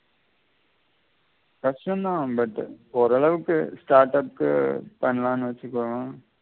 கஷ்டம் தான் but ஓரளவுக்கு startup கு பண்ணலாம் னு வெச்சிக்கலாம்